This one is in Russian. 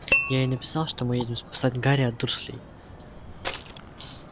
я ей написал что мы едем спасать гарри от дурслей